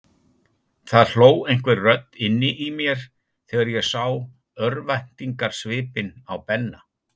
Það hló einhver rödd inni í mér þegar ég sá örvæntingarsvipinn á Benna.